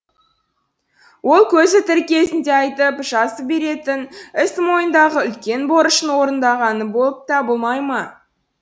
ол көзі тірі кезінде айтып жазып беретін іс мойнындағы үлкен борышын орындағаны болып табылмай ма